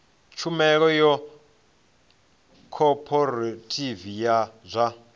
tshumelo ya khophorethivi ya zwa